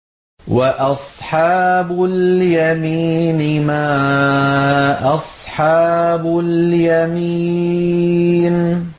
وَأَصْحَابُ الْيَمِينِ مَا أَصْحَابُ الْيَمِينِ